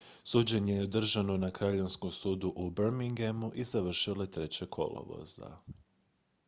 suđenje je održano na kraljevskom sudu u birminghamu i završilo je 3. kolovoza